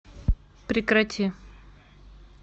прекрати